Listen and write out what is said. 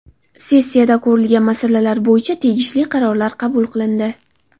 Sessiyada ko‘rilgan masalalar bo‘yicha tegishli qarorlar qabul qilindi.